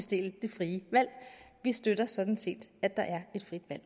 det frie valg vi støtter sådan set at der er et frit valg